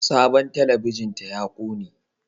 Sabon talabijin ta ya ƙone